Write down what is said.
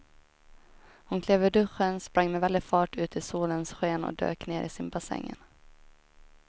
Hon klev ur duschen, sprang med väldig fart ut i solens sken och dök ner i simbassängen.